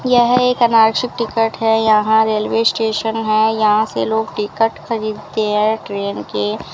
यह एक टिकट है यहां रेलवे स्टेशन है यहां से लोग टिकट खरीदते हैं ट्रेन के।